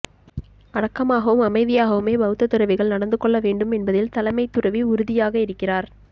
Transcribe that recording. அடக்கமாகவும் அமைதியாகவுமே பௌத்த துறவிகள் நடந்து கொள்ள வேண்டும் என்பதில் தலைமை துறவி உறுதியாக இருக்கிறார்